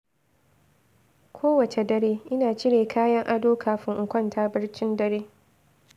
Kowace dare, ina cire kayan ado kafin in kwanta barcin dare.